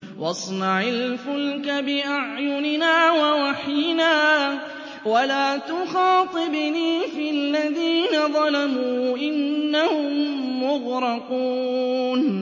وَاصْنَعِ الْفُلْكَ بِأَعْيُنِنَا وَوَحْيِنَا وَلَا تُخَاطِبْنِي فِي الَّذِينَ ظَلَمُوا ۚ إِنَّهُم مُّغْرَقُونَ